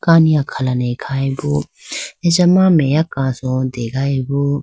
kani akhane khayi bo achama meya kaso degayi bo.